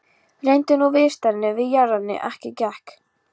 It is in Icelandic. Reyndu nú viðstaddir við járnið en ekkert gekk.